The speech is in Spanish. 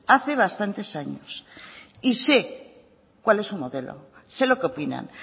hace bastantes años y sé cuál es su modelo sé lo que opinan